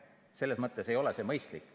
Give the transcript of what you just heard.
Selles mõttes ei ole see mõistlik.